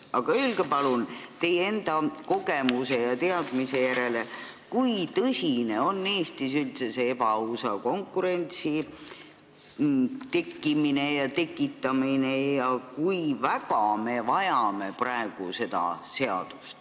Aga öelge palun, teie enda kogemuse ja teadmise põhjal, kui tõsine probleem on Eestis üldse ebaausa konkurentsi tekkimine ja tekitamine ning kui väga me praegu seda vajame.